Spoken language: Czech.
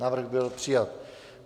Návrh byl přijat.